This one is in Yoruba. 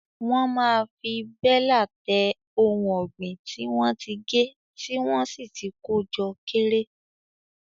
Wọ́n máa fi bélà tẹ ohun ọ̀gbìn tí wọ́n ti gé tí wọ́n sì ti kó jọ kéré.